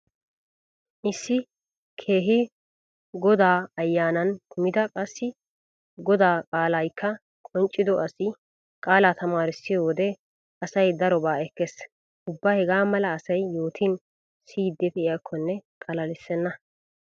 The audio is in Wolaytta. Issi keehi godaa ayyanan kumida qassi godaa qaalaykka qonccido asi qaalaa tamaarissiyo wode asay daroba ekkees. Ubba hegaa mala asay yootin siyiiddi pee'iyakkonne xalalissenna.